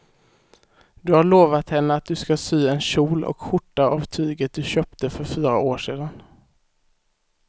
Du har lovat henne att du ska sy en kjol och skjorta av tyget du köpte för fyra år sedan.